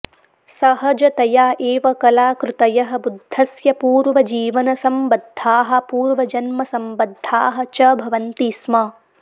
सहजतया एव कलाकृतयः बुद्धस्य पूर्वजीवनसम्बद्धाः पूर्वजन्मसम्बद्धाः च भवन्ति स्म